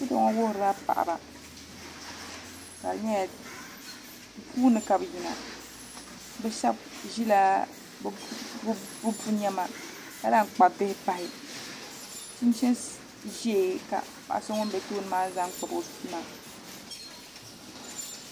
Foto ŋɔ wuhurila paɣaba ka di nyɛla puuni ka bi yina bi shab ʒila bi pu niɛma ka lahi kpabi bihi pahi chinchin ʒiɛ ka paɣa so ŋun bɛ tooni maa zaŋ kpabi o bia maa